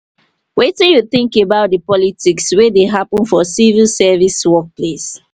wetin you think about di politics wey dey happen for civil service workplace?